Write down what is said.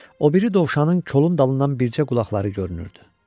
O biri dovşanın kolun dalından bircə qulaqları görünürdü.